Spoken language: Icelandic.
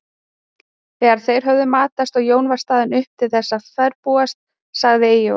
Þegar þeir höfðu matast og Jón var staðinn upp til þess að ferðbúast sagði Eyjólfur